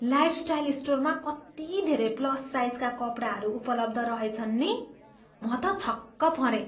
Lifestyle स्टोरमा कति धेरै प्लस साइजका कपडाहरू उपलब्ध रहेछन् नि। म त छक्क परेँ।